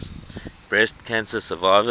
breast cancer survivors